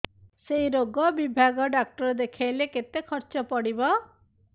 ସେଇ ରୋଗ ବିଭାଗ ଡ଼ାକ୍ତର ଦେଖେଇଲେ କେତେ ଖର୍ଚ୍ଚ ପଡିବ